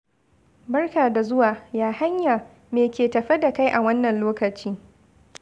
Barka da zuwa. Ya hanya? Me ke tafe da kai a wannan lokaci?